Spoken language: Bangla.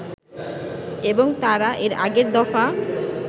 এবং তারা এর আগের দফা